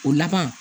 O laban